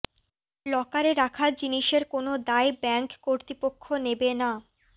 লকারে রাখা জিনিসের কোনও দায় ব্যাঙ্ক কর্তৃপক্ষ নেবে না